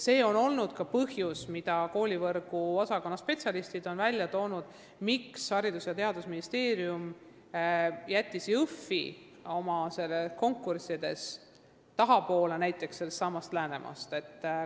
Seda on ka koolivõrgu osakonna spetsialistid toonud välja põhjusena, miks Haridus- ja Teadusministeerium jättis Jõhvi konkursi näiteks Läänemaa omast tahapoole.